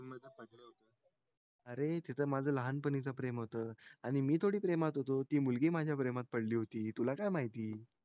अरे तिथं माझं लहान पाणीच प्रेम होत आणि मी थोडी प्रेमात होतो ती मुलगी माझा प्रमात होती तुला काय माहिती